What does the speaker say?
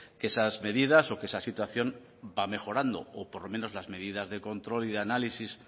que esas medidas o que esa situación va mejorando o por lo menos las medidas de control y de análisis